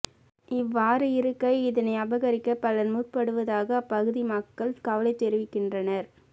இவ்வாறு இருக்க இதனை அபகரிக்க பலர் முற்படுவதாக அப்பகுதி மக்கள் கவலை தெரிவிக்கின்றனர்